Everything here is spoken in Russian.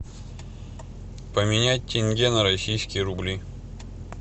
поменять тенге на российские рубли